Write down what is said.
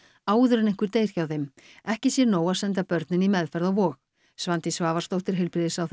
áður en einhver deyr hjá þeim ekki sé nóg að senda börnin í meðferð á Vog Svandís Svavarsdóttir heilbrigðisráðherra